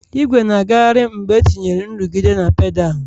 Ìgwè na-agagharị mgbe etinyere nrụgide na pedal